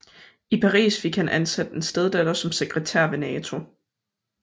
I Paris fik han ansat en steddatter som sekretær ved NATO